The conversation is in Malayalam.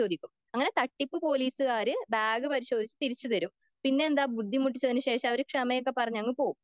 അങ്ങനെ തട്ടിപ്പ് പോലീസ്സ്ക്കാര് ബാഗ് പരിശോധിച്ച് തിരിച്ച് തരും.പിന്നെന്താ ബുദ്ധിമുട്ടിച്ചതിന് ശേഷം അവര് ക്ഷമയൊക്കെ പറഞ് അങ് പോകും.